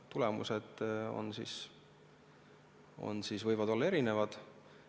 Tulemused võivad olla erinevad.